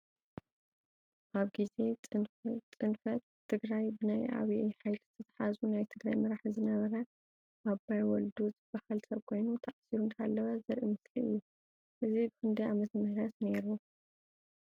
ኣብ ግዜ ፅንፈት ትግራይ ብናይ ኣብይ ሓይሊ ዝተታሓዙ ናይ ትግራይ መራሒ ዝነበረ ኣባይ ወልዱ ዝበሃል ሰብ ኮይኑ ተኣሲሩ እንዳሃለወ ዘርኢ ምስሊ እዩ። እዚ ብክንዳይ ዓመተምህረት ነይሩ።